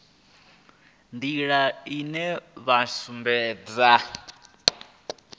nḓila ine vhana vha sumbedza